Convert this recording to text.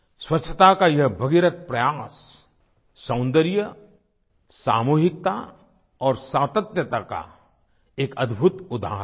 स्वच्छता का ये भगीरथ प्रयास सौन्दर्य सामूहिकता और सातत्यता का एक अद्भुत उदाहरण है